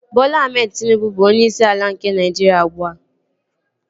Bọla Ahmed Tịnubụ bụ onyeisi ala nke Naịjiria ugbua